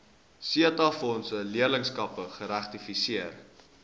setabefondse leerlingskappe geregistreer